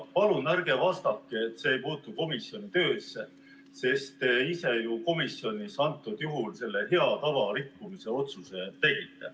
Ja palun ärge vastake, et see ei puutu komisjoni töösse, sest te ise ju komisjonis selle hea tava rikkumise otsuse tegite.